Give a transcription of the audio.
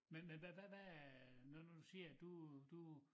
Men havd hvad hvad er når nu du siger at du du